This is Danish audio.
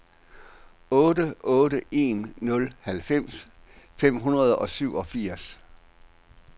otte otte en nul halvfems fem hundrede og syvogfirs